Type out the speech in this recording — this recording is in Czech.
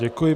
Děkuji.